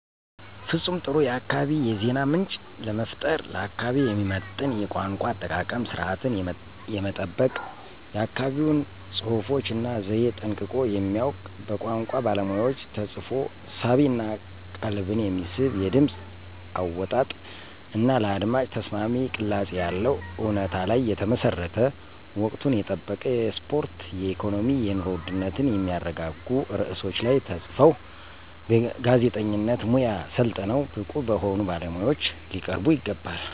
ፍፁም ጥሩ የአካባቢ የዜና ምንጭ ለመፍጠር። ለአካባቢው የሚመጥን የቋንቋ አጠቃቀም ስርዓትን የሚጠብቅ የአካባቢውን ፅሁፎች እና ዘየ ጠንቅቆ የሚያውቅ በቋንቋ ባለሙያዎች ተፅፎ ሳቢ እና ቀልብን የሚስብ የድምፅ አወጣጥ እና ለአድማጭ ተስማሚ ቅላፄ ያለው፣ እውነታ ላይ የተመሠረተ፣ ወቅቱን የጠበቁ የስፖርት፣ የኢኮኖሚ፣ የኑሮ ውድነትን የሚያረጋጉ ርዕሶች ላይ ተፅፈው በጋዜጠኝነት ሙያ ሠልጥነው ብቁ በሆኑ ባለሙያዎች ሊቀርቡ ይገባል።